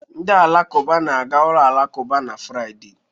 Ndị Alakụba na-aga ụlọ alakụba n'Fraịde.